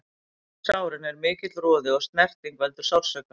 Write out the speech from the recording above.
Umhverfis sárin er mikill roði og snerting veldur sársauka.